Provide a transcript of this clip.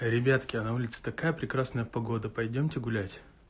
эй ребятки а на улице такая прекрасная погода пойдёмте гулять